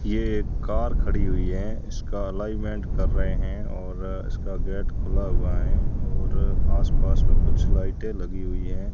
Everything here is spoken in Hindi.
ये कार खड़ी हुई है इसका एलाइनमेंट कर रहे हैं और इसका गेट खुला हुआ है और आसपास में कुछ लाइटें लगी हुई हैं।